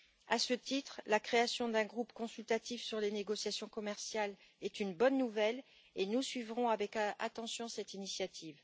À ce titre, la création d'un groupe consultatif sur les négociations commerciales est une bonne nouvelle, et nous suivrons avec attention cette initiative.